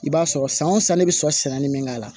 I b'a sɔrɔ san o san ne bɛ sɔrɔ sɛnɛnin min k'a la